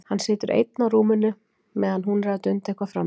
Hann situr einn á rúminu meðan hún er að dunda eitthvað frammi.